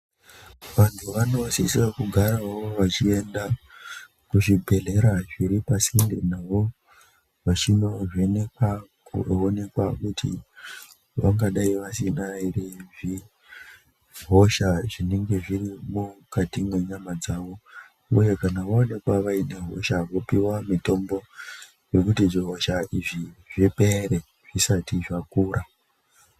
Vantu vanosisa kugarawo vachienda kuzvibhehleya zviri pasinde navo vachinovhenekwa kuonekwa kuti vangadai vasina here hosha zvinenge zviri mukati mwenyama dzavo uye kana vaonekwa vaine hosha vopiwa mitombo yekuti zvihosha izvi zviipere zvisati zvakura.